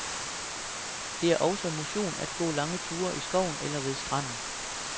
Det er også motion at gå lange ture i skoven eller ved stranden.